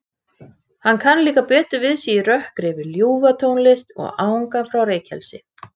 Hún horfði brosandi niður fyrir sig þegar þær komu að staurnum.